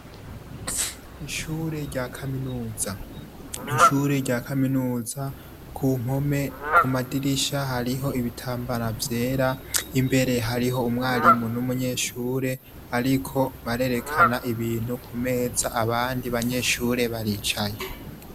Ishure rya kaminuza. Ku mpome, ku madirisha hariho ibitambara vyera. Imbere hariho umwarimu n'umunyeshure, bariko barerekana ibintu ku meza, abandi banyeshure baricaye.